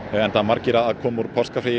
enda margir að koma úr páskafríi